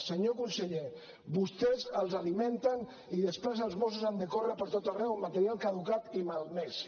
senyor conseller vostès els alimenten i després els mossos han de córrer per tot arreu amb material caducat i malmès